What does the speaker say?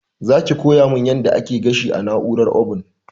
Zaki koya mun yadda ake gashi da na'urar obun?